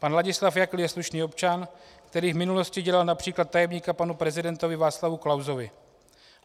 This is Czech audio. Pan Ladislav Jakl je slušný občan, který v minulosti dělal například tajemníka panu prezidentovi Václavu Klausovi.